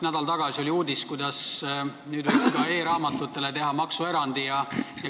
Nädal tagasi oli uudis, et võiks ka e-raamatutele teha maksuerandi.